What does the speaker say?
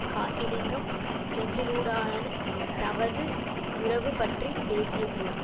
காசிலிங்கம் செந்திலுடான தவது உறவு பற்றி பேசியபோது